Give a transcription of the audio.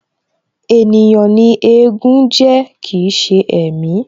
Ènìyàn ni éégún jẹ́ kii ṣe ẹ̀mí